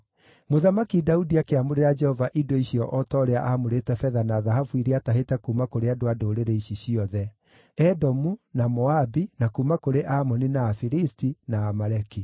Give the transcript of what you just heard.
Mũthamaki Daudi akĩamũrĩra Jehova indo icio o ta ũrĩa aamũrĩte betha na thahabu iria aatahĩte kuuma kũrĩ andũ a ndũrĩrĩ ici ciothe: Edomu, na Moabi, na kuuma kũrĩ Amoni na Afilisti, na Amaleki.